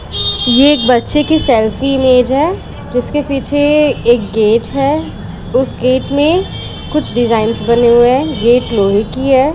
ये एक बच्चे की सेल्फी इमेज है जिसके पीछे ए एक गेट है। उसे गेट में कुछ डिजाइंस बने हुए हैं गेट लोहे की है।